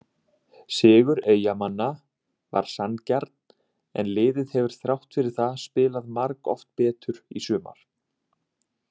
Sigur Eyjamanna var sanngjarn en liðið hefur þrátt fyrir það spilað margoft betur í sumar.